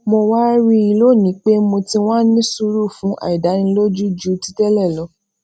mo wá rí i lónìí pé mo ti wá ní sùúrù fún àìdánilójú ju ti télè lọ